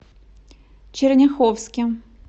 черняховске